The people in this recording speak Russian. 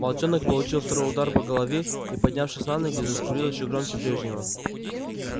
волчонок получил второй удар по голове и поднявшись на ноги заскулил ещё громче прежнего